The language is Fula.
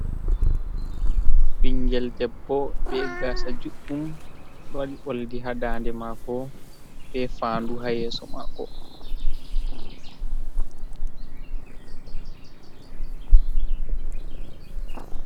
Bingel debbo be gaasa juɗɗum, o ɗo waɗi oldi haa daande maako, be faa'andu haa yeeso maako.